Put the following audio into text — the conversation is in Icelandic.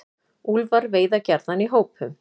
Úlfar veiða gjarnan í hópum.